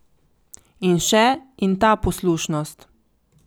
In še: 'In ta poslušnost.